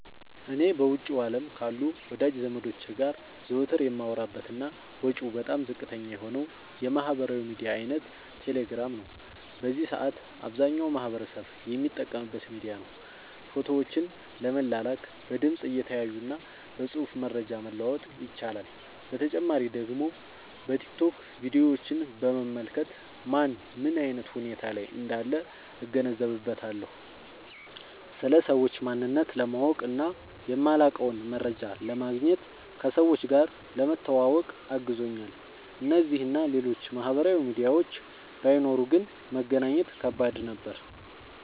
እኔ በውጭው አለም ካሉ ወዳጅ ዘመዶቸ ጋር ዘወትር የማወራበት እና ወጪው በጣም ዝቅተኛ የሆነው የማህበራዊ ሚዲያ አይነት ቴሌግራም ነው። በዚህ ሰአት አብዛኛው ማህበረሰብ የሚጠቀምበት ሚዲያ ነው። ፎቶዎችን ለመላላክ፣ በድምፅ(እየተያዩ) እና በፅሁፍ መረጃ መለዋወጥ ይቻላል። በተጨማሪ ደግሞ በቲክቶክ ቪዲዮችን በመመልከት ማን ምን አይነት ሁኔታ ላይ እንዳለ እገነዘብበታለሁ። ስለ ሰዎች ማንነት ለማወቅ እና የማላውቀውን መረጃ ለማግኘት፣ ከሰዎች ጋር ለመተዋወቅ አግዞኛል። እነዚህ እና ሌሎችም ማህበራዊ ሚዲያዎች ባይኖሩ ግን መገናኘት ከባድ ነበር።